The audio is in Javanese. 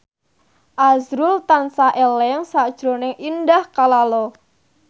azrul tansah eling sakjroning Indah Kalalo